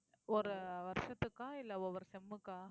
ஒரு வருஷத்துக்கா இல்லை ஒவ்வொரு sem க்கா